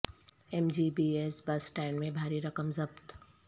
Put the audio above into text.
M G B S bus stand میں بھاری رقم ضبط